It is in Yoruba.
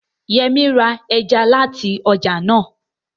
Yẹmí ra ẹja láti ọjà náà